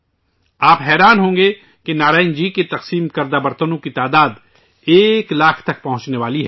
آپ حیران ہوں گے کہ نارائنن جی کی طرف سے تقسیم کئے گئے برتنوں کی تعداد ایک لاکھ کو پار کرنے جا رہی ہے